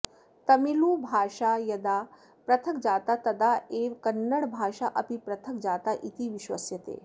तमिलुभाषा यदा पृथक् जाता तदा एव कन्नडभाषा अपि पृथक् जाता इति विश्वस्यते